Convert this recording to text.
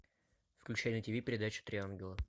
включай на тиви передачу три ангела